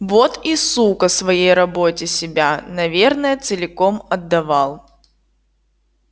вот и сука своей работе себя наверное целиком отдавал